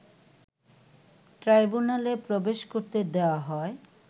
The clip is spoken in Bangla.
ট্রাইব্যুনালে প্রবেশ করতে দেয়া হয়